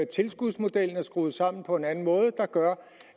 tilskudsmodellen er skruet sammen på en anden måde der gør